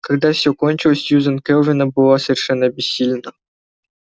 когда всё кончилось сьюзен кэлвин была совершенно обессилена